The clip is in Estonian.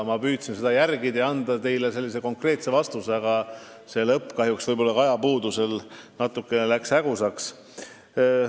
Ma püüdsin seda jälgida ja tahtsin anda teile konkreetse vastuse, aga küsimuse lõpp läks kahjuks – võib-olla ajapuudusel – natukene hägusaks.